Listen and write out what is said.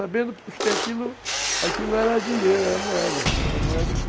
Sabendo porque aquilo era dinheiro, era moeda, era moeda que...